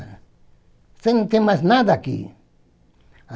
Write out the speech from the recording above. Você não tem mais nada aqui!